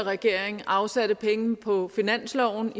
regering afsatte penge på finansloven